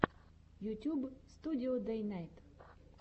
ютюб студио дэйнайт